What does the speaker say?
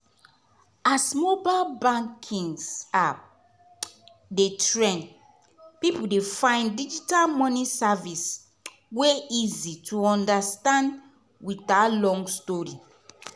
as mobile banking apps dey trend people dey find digital money service wey easy to understand without long story.